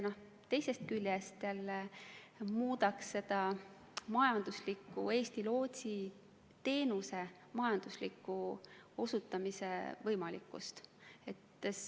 See muudaks Eesti lootsiteenuse majandusliku osutamise võimalikkust.